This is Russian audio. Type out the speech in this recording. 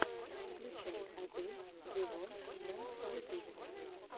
включай адель вево на ютубе